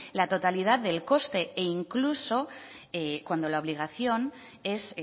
la totalidad del coste incluso cuando la obligación es